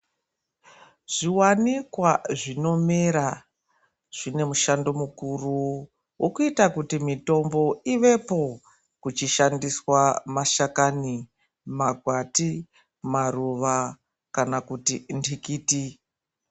Zviwanikwa zvinomera zvine mushando mukuru wekuita kuti mitombo ivepo ,kuchishandiswa mashakani, makwati, maruva kana kuti ntikiti.